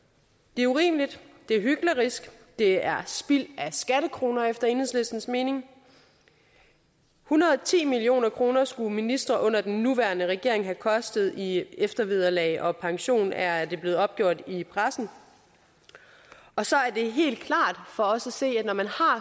det er urimeligt det er hyklerisk det er spild af skattekroner efter enhedslistens mening en hundrede og ti million kroner skulle ministre under den nuværende regering have kostet i eftervederlag og pension er det blevet opgjort i pressen og så er det helt klart for os at se at når man har